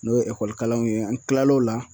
N'o ye kalanw ye an tilal'o la.